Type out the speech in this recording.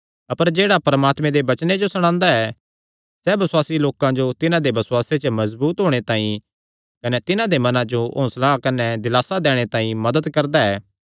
अपर जेह्ड़ा परमात्मे दे वचने जो सणांदा ऐ सैह़ बसुआसी लोकां जो तिन्हां दे बसुआसे च मजबूत होणे तांई कने तिन्हां दे मने जो हौंसला कने दिलासा दैणे तांई मदत करदा ऐ